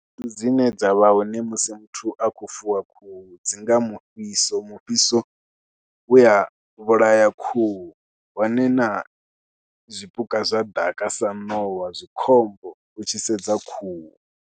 Khaedu dzine dza vha hone musi muthu a khou fuwa khuhu dzi nga mufhiso, mufhiso u ya vhulaya khuhu hone na zwipuka zwa ḓaka sa ṋowa zwi khombo u tshi sedza khuhu.